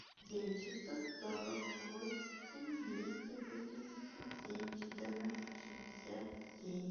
девять шестьсот сорок восемь двести восемьдесят семь четырнадцать шестьдесят семь